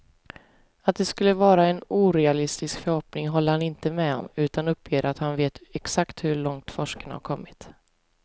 Att det skulle vara en orealistisk förhoppning håller han inte med om, utan uppger att han vet exakt hur långt forskarna har kommit.